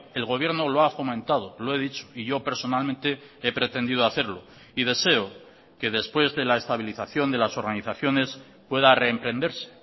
el gobierno lo ha fomentado lo he dicho y yo personalmente he pretendido hacerlo y deseo que después de la estabilización de las organizaciones pueda reemprenderse